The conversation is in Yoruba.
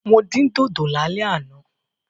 Mo dín dòdò lálẹ́ àná.